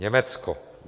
Německo.